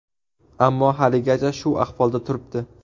Ammo haligacha shu ahvolda turibdi.